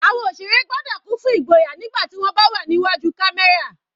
Àwọn òṣèré gbọ́dọ̀ kún fún igboyà nígbà tí wọ́n bá wà ní iwájú camera.